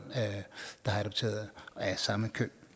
af samme køn